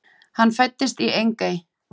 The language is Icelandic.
Hann fæddist í Engey.